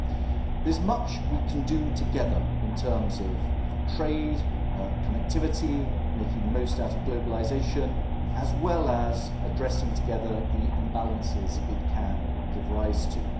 There is much we can do together in terms of trade, connectivity, making the most out of globalisation, as well as addressing together the imbalances it can give rise to.